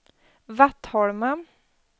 Vattholma